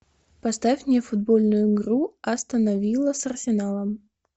поставь мне футбольную игру астон вилла с арсеналом